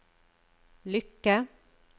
lykke